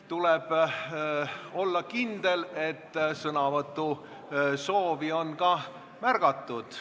Tuleb olla kindel, et sõnavõtusoovi on ka märgatud.